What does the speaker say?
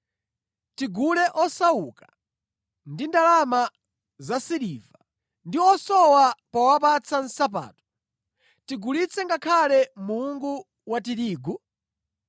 tigule osauka ndi ndalama zasiliva ndi osowa powapatsa nsapato, tigulitse ngakhale mungu wa tirigu?”